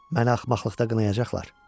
Məni axmaqlıqda qınayacaqlar.